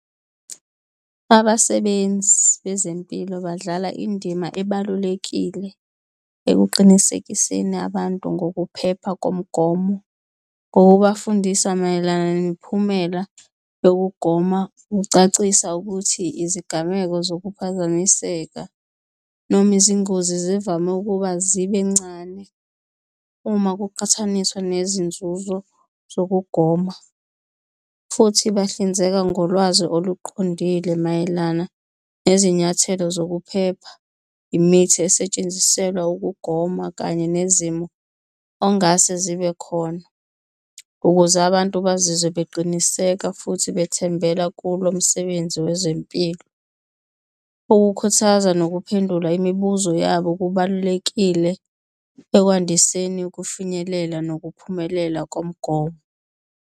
Abasebenzi bezempilo badlala indima ebalulekile ekuqinisekiseni abantu ngokuphepha komgomo ngokubafundisa mayelana nemiphumela yokugoma. Kucacisa ukuthi izigameko zokuphazamiseka noma izingozi zivame ukuba zibe ncane uma kuqhathaniswa nezinzuzo zokugoma, futhi bahlinzeka ngolwazi oluqondile mayelana nezinyathelo zokuphepha, imithi esetshenziselwa ukugoma kanye nezimo ongase zibe khona ukuze abantu bazizwe beqiniseka futhi bethembela kulo msebenzi wezempilo. Ukukhuthaza nokuphendula imibuzo yabo kubalulekile ekwandiseni ukufinyelela nokuphumelela komgomo.